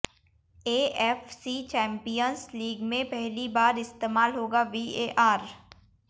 AFC champions league में पहली बार इस्तेमाल होगा वीएआर